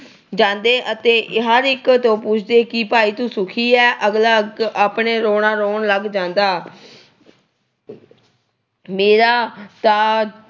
ਜਾਂਦੇ ਅਤੇ ਹਰ ਇੱਕ ਤੋਂ ਪੁੱਛਦੇ ਕਿ ਭਾਈ ਤੂੰ ਸੁੱਖੀ ਆ। ਅਗਲਾ ਅੱਗੇ ਆਪਣਾ ਰੌਣਾ ਰੌਣ ਲੱਗ ਜਾਂਦਾ। ਮੇਰਾ ਤਾਂ